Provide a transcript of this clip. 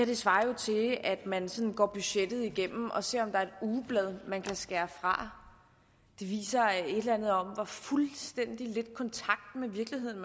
jo svarer til at man går budgettet igennem og ser om der er et ugeblad man kan skære fra viser et eller andet om hvor fuldstændig lidt kontakt med virkeligheden